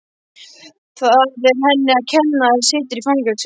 Það er henni að kenna að hann situr í fangelsi.